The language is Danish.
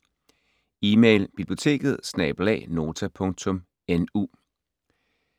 Email: biblioteket@nota.nu